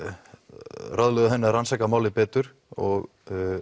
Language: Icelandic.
ráðlögðu henni að rannsaka málið betur og